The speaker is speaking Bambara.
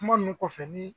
Kuma ninnu kɔfɛ ni